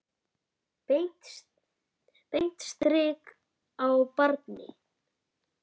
Beint strik á barinn.